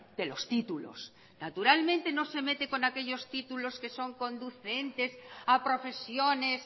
de los títulos naturalmente no se mete con aquellos títulos que son conducentes a profesiones